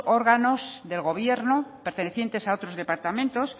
órganos del gobierno pertenecientes a otros departamentos